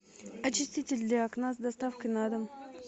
очиститель для окна с доставкой на дом